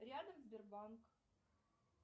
рядом сбербанк